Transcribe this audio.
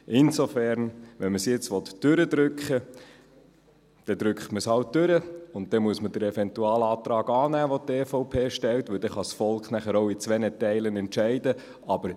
Insofern: Wenn man es jetzt durchdrücken will, drückt man es halt durch, und dann muss man den Eventualantrag, den die EVP stellt, annehmen, damit das Volk nachher auch in zwei Teilen entscheiden kann.